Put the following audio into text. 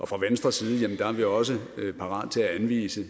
fra venstres side er vi også parat til at anvise